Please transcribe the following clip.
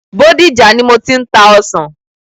Bódìjà ni mo ti ń ta ọsàn.